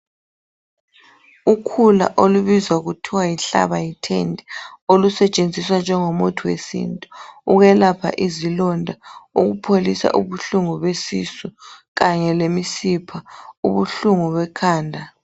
Ukhula olubizwa kuthiwa yihlaba yethende olusetshenziswa njengomuthi wesintu ukwelapha izilonda ukupholisa ubuhlungu besisu kanye lemisipha ubuhlungu bekhanda